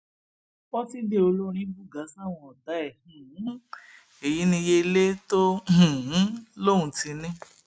pọtidé olórin buga sáwọn ọtá ẹ um èyí níye ilé tó um lóun ti ní